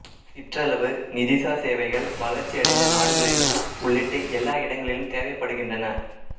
சிற்றளவு நிதிசார் சேவைகள் வளர்ச்சியடைந்த நாடுகளையும் உள்ளிட்டு எல்லா இடங்களிலும் தேவைப்படுகின்றன